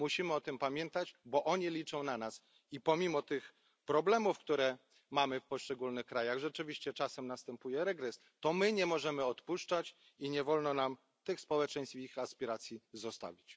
Musimy o tym pamiętać, bo oni liczą na nas, i pomimo problemów, które napotykamy w poszczególnych krajach rzeczywiście czasem następuje regres nie możemy odpuszczać i nie wolno nam tych społeczeństw w ich aspiracji zostawić.